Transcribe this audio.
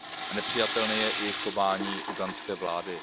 A nepřijatelné je i chování ugandské vlády.